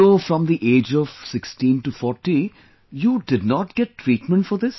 So from the age of 16 to 40, you did not get treatment for this